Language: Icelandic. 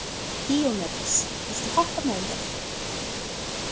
Díómedes, viltu hoppa með mér?